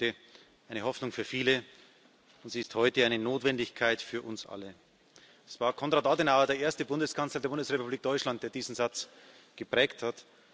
Sie wurde eine Hoffnung für viele, und sie ist heute eine Notwendigkeit für uns alle. Es war Konrad Adenauer, der erste Bundeskanzler der Bundesrepublik Deutschland, der diesen Satz geprägt hat.